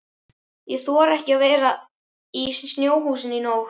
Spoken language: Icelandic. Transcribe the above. Ég þori ekki að vera í snjóhúsinu í nótt.